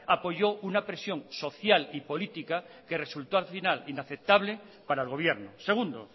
apoyó una presión social y política que resultó al final inaceptable para el gobierno segundo